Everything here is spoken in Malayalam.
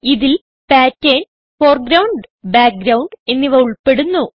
ഇതിൽ പാറ്റർൻ ഫോർഗ്രൌണ്ട് ബാക്ക്ഗ്രൌണ്ട് എന്നിവ ഉൾപ്പെടുന്നു